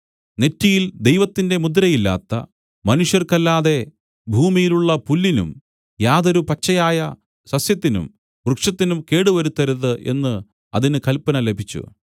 നെറ്റിയിൽ ദൈവത്തിന്റെ മുദ്രയില്ലാത്ത മനുഷ്യർക്കല്ലാതെ ഭൂമിയിലുള്ള പുല്ലിനും യാതൊരു പച്ചയായ സസ്യത്തിനും വൃക്ഷത്തിനും കേടുവരുത്തരുത് എന്നു അതിന് കല്പന ലഭിച്ചു